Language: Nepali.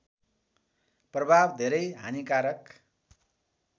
प्रभाव धेरै हानिकारक